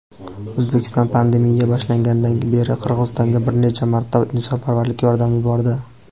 O‘zbekiston pandemiya boshlanganidan beri Qirg‘izistonga bir necha marta insonparvarlik yordami yubordi.